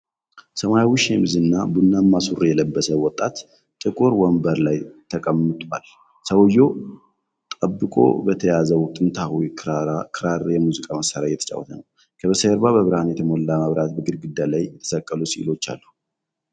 ሰማያዊ ሸሚዝ እና ቡናማ ሱሪ የለበሰ ወጣት ጥቁር ወንበር ላይ ተቀምጧል። ሰውዬው ጠብቆ በተያዘው ጥንታዊ ክራር የሙዚቃ መሳሪያ እየተጫወተ ነው። ከበስተጀርባ በብርሃን የተሞላ መብራትና በግድግዳ ላይ የተሰቀሉ ሥዕሎች አሉ።